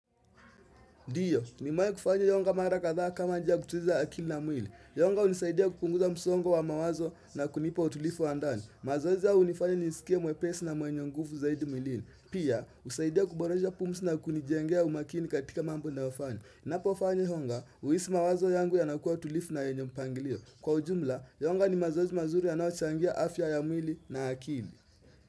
Ndiyo, nimewai kufanya yonga mara kathaa kama njia ya kutuliza akili na mwili. Yonga hunisaidia kupunguza msongo wa mawazo na kunipa utulifu wa ndani. Mazoezi haya unifanya nisikie mwepesi na mwenye nguvu zaidi mwilini. Pia, husaidia kuboresha pumzi na kunijengea umakini katika mambo nayofanya. Napofanya yonga, huisi mawazo yangu yanakuwa tulifu na yenye mpangilio. Kwa ujumla, yonga ni mazoezi manzuri yanaoachangia afya ya mwili na akili.